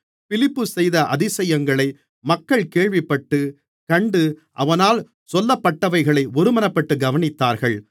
பிலிப்பு செய்த அதிசயங்களை மக்கள் கேள்விப்பட்டு கண்டு அவனால் சொல்லப்பட்டவைகளை ஒருமனப்பட்டு கவனித்தார்கள்